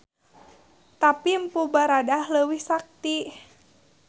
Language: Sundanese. Tapi Mpu Baradah leuwih sakti.